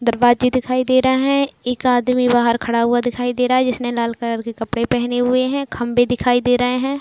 दरवाजे दिखाई दे रहा हैं। एक आदमी बाहर खड़ा हुआ दिखाई दे रहा है जिसने लाल कलर के कपड़े पहने हुए हैं। खंबे (खंभे) दिखाई दे रहे हैं।